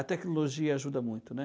A tecnologia ajuda muito, né?